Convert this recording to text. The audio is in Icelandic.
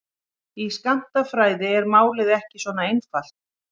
Í skammtafræði er málið ekki svona einfalt.